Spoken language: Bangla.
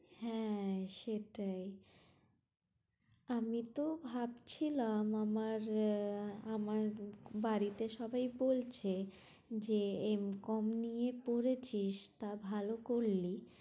হ্যাঁ সেটাই আমি তো ভাবছিলাম আমার আহ আমার বাড়িতে সবাই বলছে, যে এম কম নিয়ে পড়েছিস টা ভালো করলি